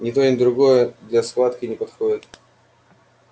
ни то ни другое для схватки не подходит